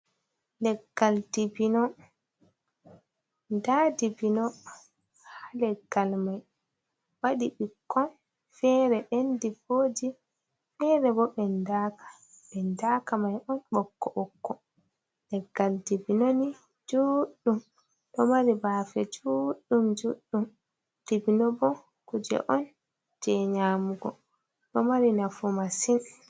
Leggal dibino, nda dibino ha leggal mai waɗi ɓikkon fere ɓendi voji, fere bo ɓen daka, ben daaka mai ɗon ɓokko ɓokko . leggal dibbino ni juɗɗum ɗo mari bafe juɗɗum, dibbino bo kuje on je nyamugo ɗo mari nafu massin.